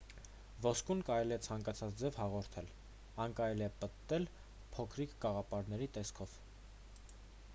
ոսկուն կարելի է ցանկացած ձև հաղորդել այն կարելի է պտտել փոքրիկ կաղապարների տեսքով